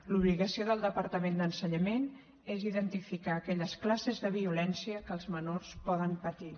l’obligació del departament d’ensenyament és identificar aquelles classes de violència que els menors poden patir